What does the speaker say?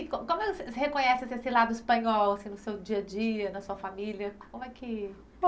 E como, como você reconhece assim esse lado espanhol, assim no seu dia a dia, na sua família? Como é que. Não